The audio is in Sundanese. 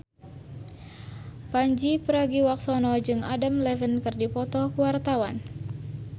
Pandji Pragiwaksono jeung Adam Levine keur dipoto ku wartawan